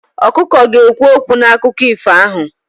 Ọkụkọ ga-ekwu okwu n'akụkọ ifo ahụ.